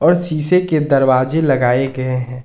शीशे के दरवाजे लगाए गए हैं।